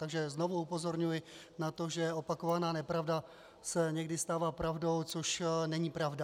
Takže znovu upozorňuji na to, že opakovaná nepravda se někdy stává pravdou, což není pravda.